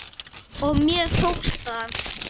Og mér tókst það.